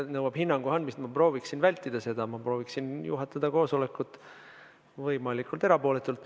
See nõuab hinnangu andmist, aga ma prooviksin seda vältida, ma prooviksin juhatada koosolekut võimalikult erapooletult.